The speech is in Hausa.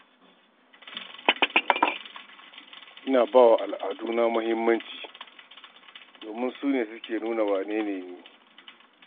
Ina ba wa al'aduna muhimmanci, domin su ne suke nuna wane ne ni.